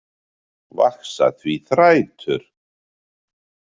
Vaxa því þrætur